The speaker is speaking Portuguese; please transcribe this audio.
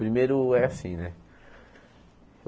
Primeiro é assim, né?